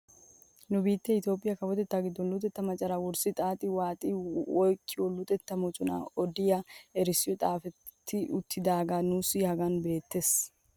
Nu biittee itoophphee kawotettaa giddon luxettaa macaraa wurssidi xaaxi waaxi oyqqiyaa luxetta moconaa odiyaa erissoy xaafetti uttidagee nuusi hagan beettees.